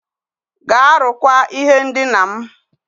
Gaa rụkwaa ihe ndina m.